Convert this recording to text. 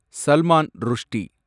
Salman Rushdie